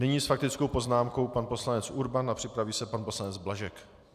Nyní s faktickou poznámkou pan poslanec Urban a připraví se pan poslanec Blažek.